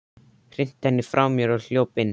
Hrinti henni frá mér og hljóp inn.